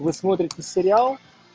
вы смотрите сериал